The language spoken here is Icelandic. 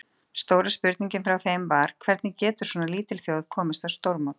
Stóra spurningin frá þeim var, hvernig getur svona lítil þjóð komist á stórmót?